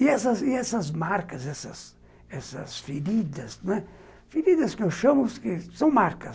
E essas e essas marcas, essas feridas, feridas que eu chamo, são marcas.